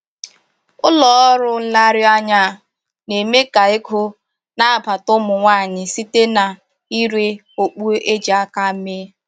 Ụlọ ọrụ nlereanya a na-eme k'ego na-abata ụmụ nwanyị site na-ire okpu e ji aka mee